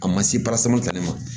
A ma se parasamata ne ma